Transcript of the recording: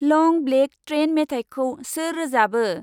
लं black train मेथाइखौ सोर रोजाबो?